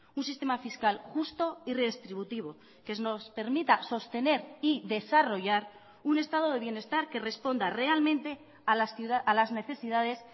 un sistema fiscal justo y redistributivo que nos permita sostener y desarrollar un estado de bienestar que responda realmente a las necesidades